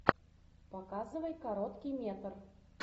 показывай короткий метр